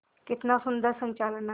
कितना सुंदर संचालन है